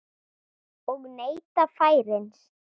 Og neyta færis.